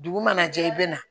Dugu mana jɛ i bɛ na